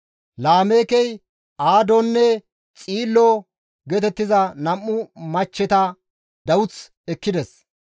Laameekey Aadonne Xiilo geetettiza nam7u machcheta dawuth ekkides.